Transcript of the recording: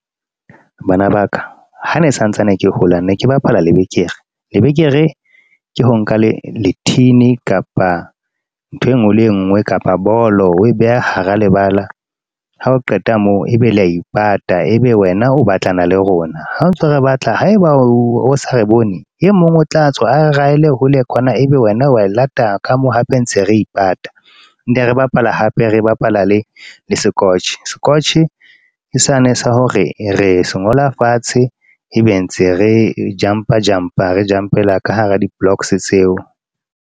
Bana ba ka ha ne santsane ke hola ne ke bapala lebekere. Lebekere ke ho nka lethini kapa ntho e nngwe le e nngwe kapa bolo oe beha hara lebala. Ha o qeta moo, ebe le a ipata ebe wena o batlana le rona ha ntso re batla haeba o sa re bone. E mong o tla tswa a e raele hole kwana ebe wena wa e lata ka mo hape ntse re ipata. Ne re bapala hape re bapala le sekotjhe, sekotjhe ke sane sa hore re se ngola fatshe ebe ntse re jumper jumper re jump-ela ka hara di-blocks tseo.